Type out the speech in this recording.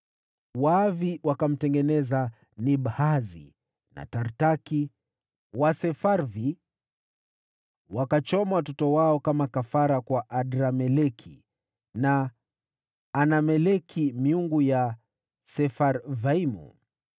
Waavi wakatengeneza Nibhazi na Tartaki, nao Wasefarvi wakachoma watoto wao kama kafara kwa Adrameleki na Anameleki, miungu ya Sefarvaimu.